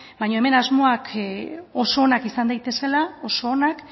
baina hemen asmoak oso onak izan daitezela oso onak